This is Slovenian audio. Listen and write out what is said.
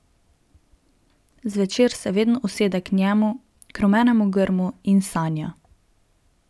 Zvečer se vedno usede k njemu, k rumenemu grmu, in sanja.